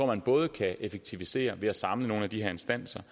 man både kan effektivisere ved at samle nogle af de her instanser